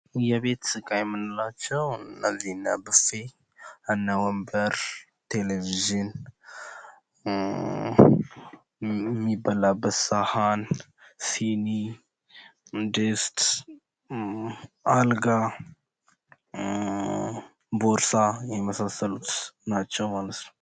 የቤት እቃ የምንላቸው እነ ብፌ ፣ እነ ወንበር የሚበላበት ሳህን ፣ ሲኒ፣ ድስት አልጋ፣ ቦርሳ የመሳስሉት ናቸው።